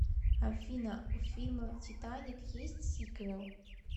афина у фильма титаник есть сиквел